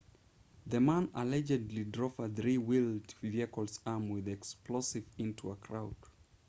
the man allegedly drove a three-wheeled vehicle armed with explosives into a crowd